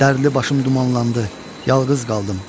Dərdli başım dumanlandı, yalqız qaldım.